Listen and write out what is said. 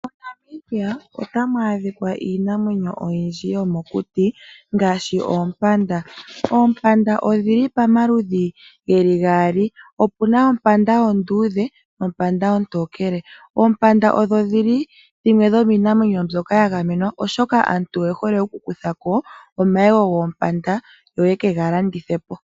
MoNamibia otamu adhika iinamwenyo oyindji yomokuti ngaashi oompanda. Oompanda odhi li pamaludhi gaali, opu na ompanda onduudhe nompanda ontookele. Oompanda odho dhimwe dhomiinamwenyo mboka ya gamenwa, oashoka aantu oye hole okukutha ko omayego goompanda yo ye ke ga landithe po.